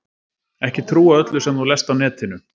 Ekki trúa öllu sem þú lest á netinu.